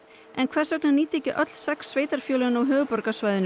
en hvers vegna nýta ekki öll sex sveitarfélögin á höfuðborgarsvæðinu